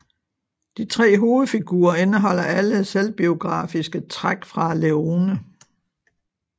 De tre hovedfigurer indeholder alle selvbiografiske træk fra Leone